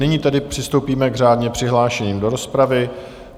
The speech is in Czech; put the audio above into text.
Nyní tedy přistoupíme k řádně přihlášeným do rozpravy.